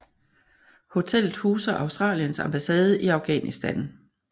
Hotellet huser Australiens ambassade i Afghanistan